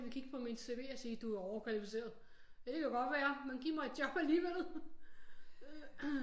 De vil kigge på mit CV og sige du er overkvalificeret det kan godt være men giv mig et job alligevel